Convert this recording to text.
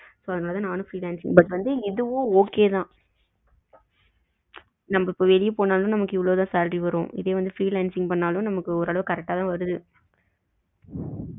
அதனால தான் நானும் freelance பண்ணி but இதுவும் okay தான் நமக்கு வெளில போனாலும் நமக்கு இவ்ளோ தான் salary வரும் இதுவே freelancing பண்ணாலும் நமக்கு ஓரளவு correct அ தான் வருது